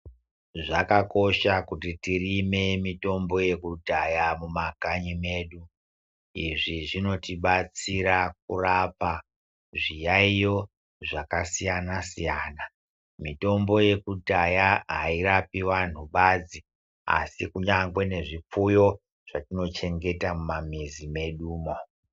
Zvakakosha kuti tirime mitombo yekudhaya mumakanyi medu izvi zvinotibatsira kurapa zviyaiyo zvakasiyana siyana mitombo yekudhaya airapi vantu badzi asi kunyangwe nezvipfuyo zvatinochengeta mumamizi medu umo.